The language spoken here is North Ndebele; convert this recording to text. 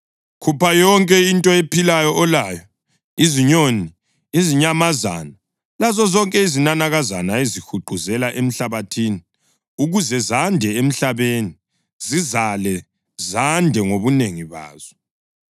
Khupha yonke into ephilayo olayo, izinyoni, izinyamazana lazozonke izinanakazana ezihuquzela emhlabathini ukuze zande emhlabeni, zizale zande ngobunengi bazo.”